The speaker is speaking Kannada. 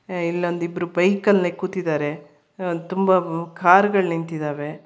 ಏ ಇಲ್ಲೊಂದ ಇಬ್ರೂ ಬೈಕ್ ಅಲ್ಲಿ ಕೂತಿದಾರೆ ಆ ತುಂಬಾ ಕಾರ್ ಗಳ ನಿಂತಿದಾವೆ.